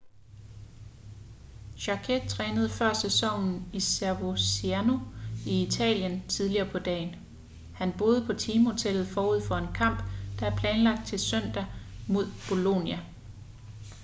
jarque trænede før sæsonen i coverciano i italien tidligere på dagen han boede på teamhotellet forud for en kamp der er planlagt til søndag mod bolonia